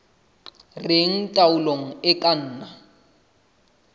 reng taolo e ka nna